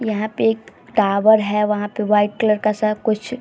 यहाँ पे एक टावर है। वहाँ पे वाइट कलर का सा कुछ --